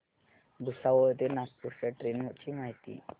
भुसावळ ते नागपूर च्या ट्रेन ची माहिती